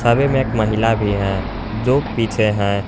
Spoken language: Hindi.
एक महिला भी है जो पीछे हैं।